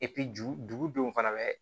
ju dugudenw fana bɛ